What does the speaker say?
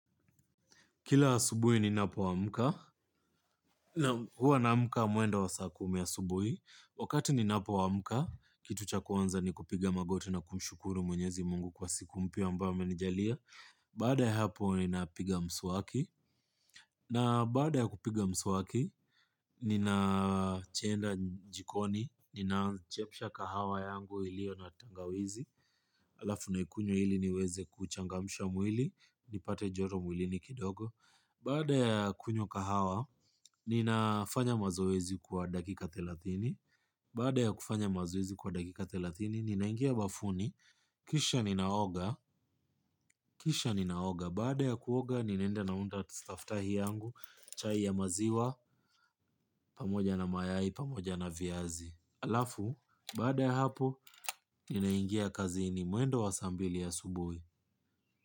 Kila asubuhi ninapo amka, huwa naamka mwendo wa saa kumi asubuhi, wakati ninapo amka, kitu cha kwanza ni kupiga magoti na kumshukuru mwenyezi mungu kwa siku mpya ambayo amenijalia, baada ya hapo ninapiga msuwaki, na baada ya kupiga mswaki, nina chenda jikoni, ninachemsha kahawa yangu ilio na tangawizi, alafu naikunywa ili niweze kuchangamsha mwili, nipate joto mwilini kidogo. Baada ya kunywa kahawa ninafanya mazoezi kwa dakika thelathini. Baada ya kufanya mazoezi kwa dakika thelatini, ninaingia bafuni. Kisha ninaoga, kisha ninaoga. Baada ya kuoga, ninaenda na unda staftahi yangu. Chai ya maziwa, pamoja na mayai, pamoja na viazi alafu, baada ya hapo, ninaingia kazini mwendo wa saa mbili asubuhi.